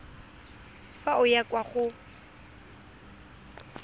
fa o ya kwa go